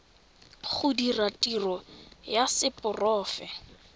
go dira tiro ya seporofe